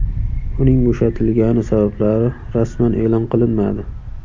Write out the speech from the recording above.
Uning bo‘shatilgani sabablari rasman e’lon qilinmadi.